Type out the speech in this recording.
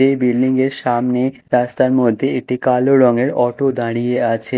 এই বিল্ডিঙের সামনে রাস্তার মধ্যে একটি কালো রঙের অটো দাঁড়িয়ে আছে।